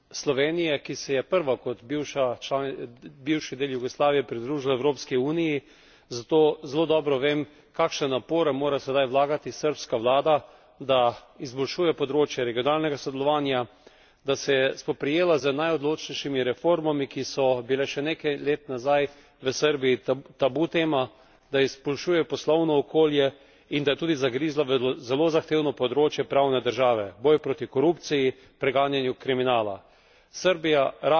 Prihajam iz Slovenije, ki se je prva kot bivši del Jugoslavije pridružila Evropski uniji, zato zelo dobro vem, kakšne napore mora sedaj vlagati srbska vlada, da izboljšuje področje regionalnega sodelovanja, da se je spoprijela z najodločnejšimi reformami, ki so bile še nekaj let nazaj v Srbiji tabu tema, da izboljšuje poslovno okolje, in da je tudi zagrizla v zelo zahtevno področje pravne države boj proti korupciji, preganjanje kriminala.